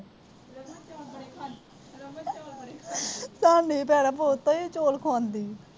ਸਾਹਨੀ ਭੈਣਾਂ ਬਹੁਤ ਈ ਚੌਲ ਬੜੇ ਖਵਾਉਂਦੀ ਆ।